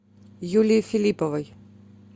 юлии филипповой